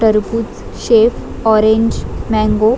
टरबूज shake orange mango --